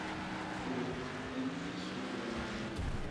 Hubi in chicks ku filan yihiin.